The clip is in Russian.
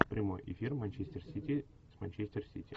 прямой эфир манчестер сити с манчестер сити